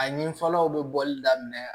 A nin fɔlɔw bɛ bɔli daminɛ